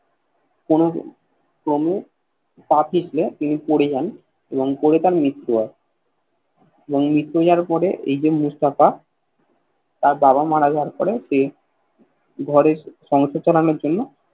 কোন ক্রমে পা পিছলে তিনি পরে যান এবং পড়ে তার মৃতু হয় এবং মৃতু হওয়ার পরে এই যে মুস্তাফা তার বাবা মারা যাবার পরে সে ঘরের সংসার চালানোর জন্য